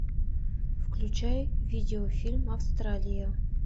включай видеофильм австралия